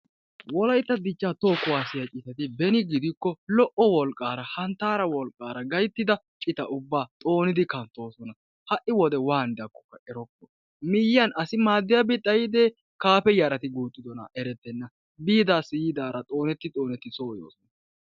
Wolaytta dichcha toho kuwassiya citaatiybeni gidikko lo''o wolqqara hanttara wolqqara yiida ubba xoonod kanttooson. ha'i wode waanidaakkokka erokko miyiyyaan asi xayyide kaaafiya asi guuxxide erokko, biidara yiidara xooneti xooneti so yoosona.